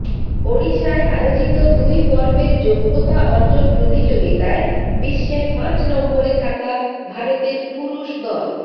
ওড়িশায় আয়োজিত দুই পর্বের যোগ্যতা অর্জন প্রতিযোগিতায় বিশ্বের পাঁচ নম্বরে থাকা ভারতের পুরুষ দল